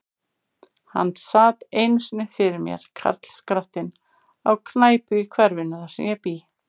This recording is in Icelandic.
Hann sat einu sinni fyrir mér, karlskrattinn, á knæpu í hverfinu, þar sem ég bý.